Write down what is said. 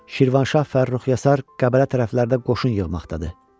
Şirvanşah Fərrux Yasar Qəbələ tərəflərdə qoşun yığmaqdadır.